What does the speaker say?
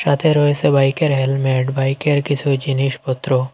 তাতে রয়েসে বাইকের হেলমেট বাইকের কিছু জিনিসপত্র।